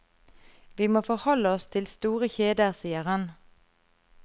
Vi må forholde oss til store kjeder, sier han.